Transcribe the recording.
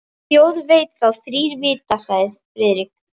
Þjóð veit þá þrír vita sagði Friðrik.